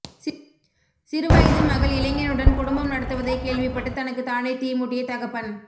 சிறுவயது மகள் இளைஞனுடன் குடும்பம் நடத்துவதைக் கேள்விப்பட்டு தனக்குத் தானே தீ மூட்டிய தகப்பன்